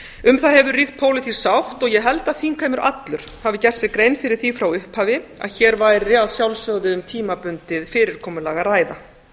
um á hefur ríkt pólitísk sátt ég held að þingheimur allur hafi gert sér grein fyrir því frá upphafi að hér væri að sjálfsögðu um tímabundið fyrirkomulag að ræða